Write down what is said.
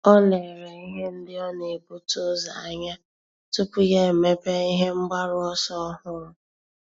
Ọ́ lérè ihe ndị ọ́ nà-ebute ụzọ anya tupu yá èmépé ihe mgbaru ọsọ ọ́hụ́rụ́.